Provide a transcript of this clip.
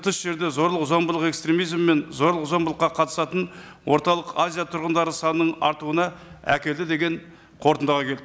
тыс жерде зорлық зомбылық экстремизм мен зорлық зомбылыққа қатысатын орталық азия тұрғындары санының артуына әкелді деген қорытындыға келді